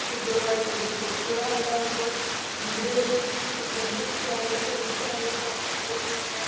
കുട്ടികളുമായി കളിച്ചും കുറച്ചൂടെ വലുതായപ്പോ വീടുകളിൽ വല്യ കുട്ടി ആയല്ലോ പെൺ കുട്ടി അയിന്ന് പറയുമ്പോ പിന്നെ